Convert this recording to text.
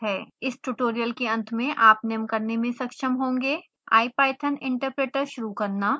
इस ट्यूटोरियल के अंत में आप निम्न करने में सक्षम होगें ipython interpreter शुरू करना